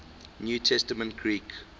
new testament greek